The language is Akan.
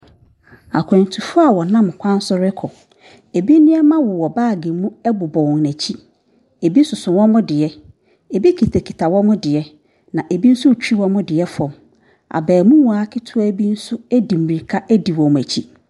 Akwantufo a wɔnam kwan so rekɔ, binom nneɛma wowɔ baage bɔ wɔn akyi, bi soso wɔn deɛ, bi kitakita wɔn deɛ, na bi so retwi wɔn deɛ fam. Abaamua ketewa bi nso de mirika di wɔn akyi.